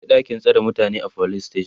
akwai ɗakin tsare mutane a police station